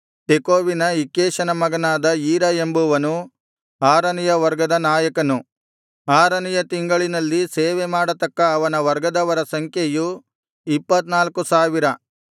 ತೆಕೋವಿನ ಇಕ್ಕೇಷನ ಮಗನಾದ ಈರ ಎಂಬುವನು ಆರನೆಯ ವರ್ಗದ ನಾಯಕನು ಆರನೆಯ ತಿಂಗಳಿನಲ್ಲಿ ಸೇವೆಮಾಡತಕ್ಕ ಅವನ ವರ್ಗದವರ ಸಂಖ್ಯೆಯು ಇಪ್ಪತ್ತ್ನಾಲ್ಕು ಸಾವಿರ